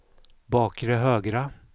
bakre högra